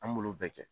An m'olu bɛɛ kɛ